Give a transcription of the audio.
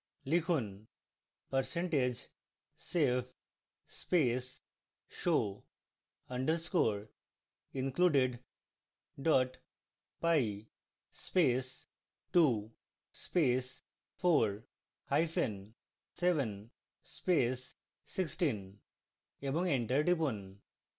লিখুন: percentage save space show underscore included py space 2 space 4 hyphen 7 space 16 এবং enter টিপুন